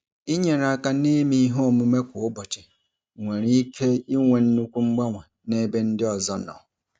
Inyere aka n'ime ihe omume kwa ụbọchị nwere ike inwe nnukwu mgbanwe n'ebe ndị ọzọ nọ.